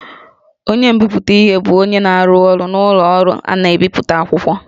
Onye nbipute bụ onye na-arụ ọrụ n'ụlọ ọrụ na-ebipụta akwụkwọ